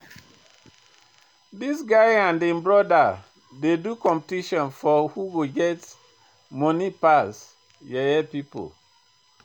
Dis guy and im brodas dey do competition for who get moni pass, yeye pipo.